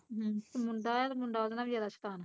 ਹਮ, ਮੁੰਡਾ ਐ ਤੇ ਮੁੰਡਾ ਉਹਦੇ ਨਾਲੋਂ ਵੀ ਜਿਆਦਾ ਸ਼ੈਤਾਨ